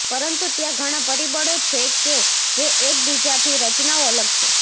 પરંતુ ત્યાં ઘણા પરિબળો છે કે જે એકબીજાથી રચનાઓ અલગ છે